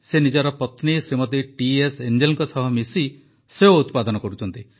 ସେ ନିଜ ପତ୍ନୀ ଶ୍ରୀମତୀ ଟିଏସ୍ ଏଞ୍ଜେଲଙ୍କ ସହ ମିଶି ସେଓ ଉତ୍ପାଦନ କରୁଛନ୍ତି